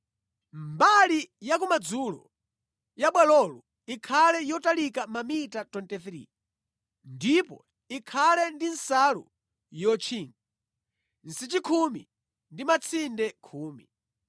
“Mbali yakumadzulo ya bwalolo ikhale yotalika mamita 23 ndipo ikhale ndi nsalu yotchinga, nsichi khumi ndi matsinde khumi.